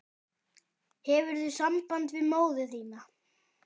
Hefurðu samband við móður þína?